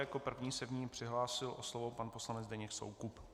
Jako první se v ní přihlásil o slovo pan poslanec Zdeněk Soukup.